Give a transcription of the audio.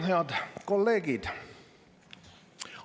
Head kolleegid!